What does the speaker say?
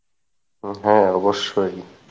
হ্যাঁ অবশ্যই।